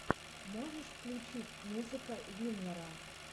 можешь включить музыка виннера